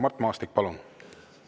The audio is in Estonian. Mart Maastik, palun!